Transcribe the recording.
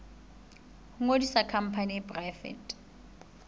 ho ngodisa khampani e poraefete